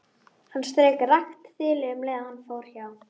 Hann strauk rakt þilið um leið og hann fór hjá.